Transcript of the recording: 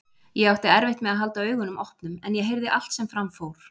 Ég átti erfitt með að halda augunum opnum en ég heyrði allt sem fram fór.